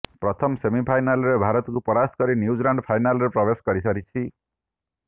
ପ୍ରଥମ ସେମିଫାଇନାଲରେ ଭାରତକୁ ପରାସ୍ତ କରି ନ୍ୟୁଜିଲାଣ୍ଡ ଫାଇନାଲରେ ପ୍ରବେଶ କରିସାରିଛି